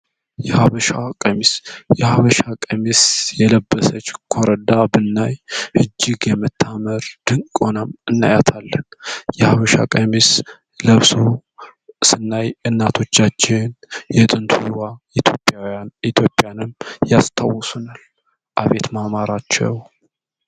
የሀበሻ ቀሚስ የለበሰች ላይ እጅግ የመጣ ድንኳን እናያለን የሀበሻ ቀሚስ ለእርሱ ስናይ እናቶቻችን ኢትዮጵያውያን ኢትዮጵያንም ያስታወሱ